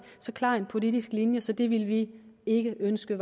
så klar en politisk linje så det ville vi ikke ønske